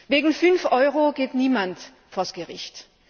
Wegen fünf Euro geht niemand vor Gericht.